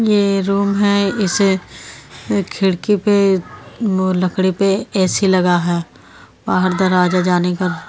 यह रूम है इसे खिड़की पे वो लकड़ी पे ऐसी लगा है बाहर दरवाजा जाने का।